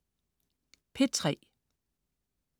P3: